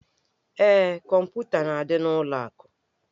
Ee, kọmputa na-adị n'ụlọ akụ.